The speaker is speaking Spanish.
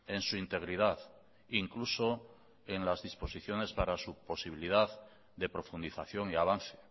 en su integridad incluso en las disposiciones para su posibilidad de profundización y avance